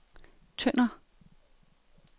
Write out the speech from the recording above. Tønder